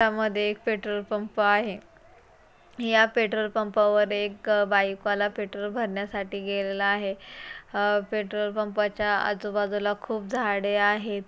यामध्ये एक petrol pump आहे या पेट्रोल पंपावर एक बाईक वाला पेट्रोल भरण्यासाठी गेलेला आहे अ पेट्रोल पंपा च्या आजूबाजूला खूप झाडे आहेत.